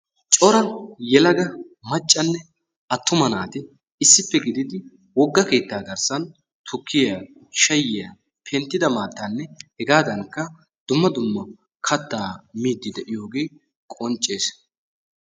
Cora yelaga macanne attuma naati issippe gididi woga keettaa garssan tukkiya shaayiya penttida maattaanne hegaadankka dumma dumma kataa miidi de'iyoogee qoncees.